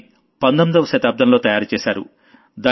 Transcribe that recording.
దాన్ని 19వ శతాబ్దంలో తయారు చేశారు